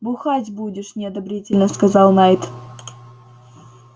бухать будешь неодобрительно сказал найд